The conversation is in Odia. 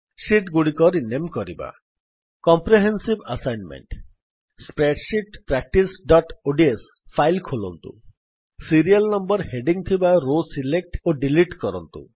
ଶୀଟ୍ ଗୁଡିକ ରିନେମ୍ କରିବା କମ୍ପ୍ରେହେନ୍ସିଭ୍ ଆସାଇନମେଣ୍ଟ୍ ସ୍ପ୍ରେଡସିଟ୍ practiceଓଡିଏସ ଫାଇଲ୍ ଖୋଲନ୍ତୁ ସିରିଆଲ୍ ନମ୍ବର ହେଡିଙ୍ଗ୍ ଥିବା ରୋ ସିଲେକ୍ଟ୍ ଓ ଡିଲିଟ୍ କରନ୍ତୁ